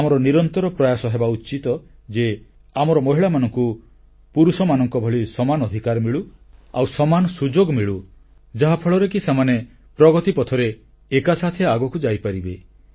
ଆମର ନିରନ୍ତର ପ୍ରୟାସ ହେବା ଉଚିତ ଯେ ଆମର ମହିଳାମାନଙ୍କୁ ପୁରୁଷମାନଙ୍କ ଭଳି ସମାନ ଅଧିକାର ମିଳୁ ଆଉ ସମାନ ସୁଯୋଗ ମିଳୁ ଯାହାଫଳରେ କି ସେମାନେ ପ୍ରଗତି ପଥରେ ଏକାସାଥେ ଆଗକୁ ଯାଇପାରିବେ